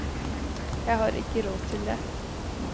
Jeg har ikke råd til det.